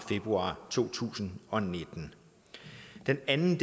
februar to tusind og nitten det andet